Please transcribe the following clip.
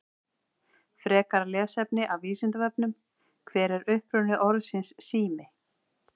Frekara lesefni af Vísindavefnum: Hver er uppruni orðsins sími?